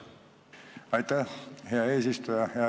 Aitäh, hea eesistuja!